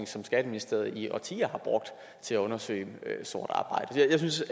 som skatteministeriet i årtier har brugt til at undersøge sort arbejde jeg synes